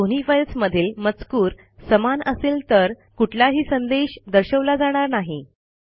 जर दोन्ही फाईल्समधील मजकूर समान असेल तर कुठलाही संदेश दर्शवला जाणार नाही